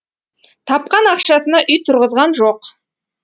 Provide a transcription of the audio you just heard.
тапқан ақшасына үй тұрғызған жоқ